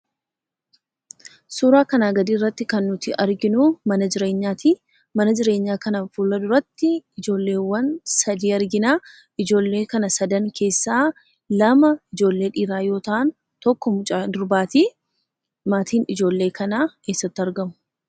Suuraa kanaa gadiirratti kan nuti arginuu mana jireenyatii. Mana jireenyaa kana fuula duratti ijoolleewwan sadii arginaa. ijoollee kana sadan keessaa lama ijoollee dhiiraa yoo ta'an tokko mucaa durbaatii. Maatiin ijoollee kanaa eessatti argamu?